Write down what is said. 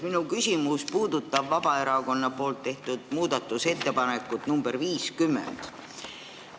Minu küsimus puudutab Vabaerakonna tehtud muudatusettepanekut nr 50.